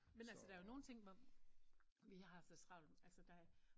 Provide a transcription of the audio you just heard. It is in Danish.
Men altså der er jo nogen ting hvor vi har så travlt altså der